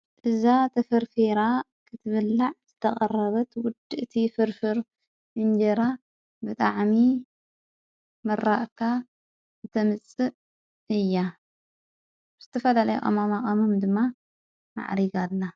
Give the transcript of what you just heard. እዛ ተፈርፈራ ኽትብላዕ ዘተቐረበት ውድ እቲ ፍርፍሩ እንጀይራ ብጣዕሚ ምራቕካ ብተምጽእ እያ ሙስቲፈደለይ ኦማማቐሙም ድማ ማዕሪቃላ